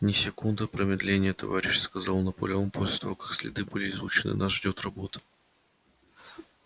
ни секунды промедления товарищи сказал наполеон после того как следы были изучены нас ждёт работа